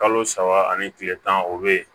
Kalo saba ani kile tan o bɛ yen